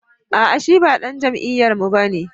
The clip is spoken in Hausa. A'a shi ba dan jam'iyyarmu ba ne